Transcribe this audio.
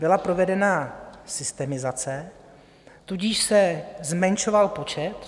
Byla provedena systemizace, tudíž se zmenšoval počet.